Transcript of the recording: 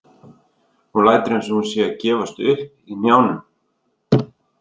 Hún lætur einsog hún sé að gefast upp í hnjánum.